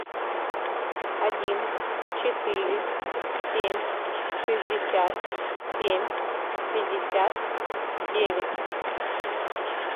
один четыре семь шестьдесят семь пятьдесят девять